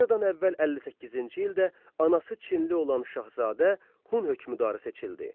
Eradan əvvəl 58-ci ildə anası Çinli olan Şahzadə Hun hökmdarı seçildi.